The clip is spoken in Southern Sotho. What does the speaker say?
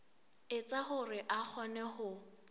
etsa hore a kgone ho